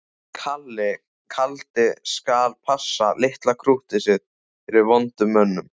Kalli kaldi skal passa litla krúttið sitt fyrir vondu mönnunum.